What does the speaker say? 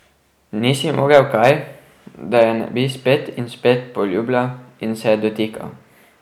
Ni si mogel kaj, da je ne bi spet in spet poljubljal in se je dotikal.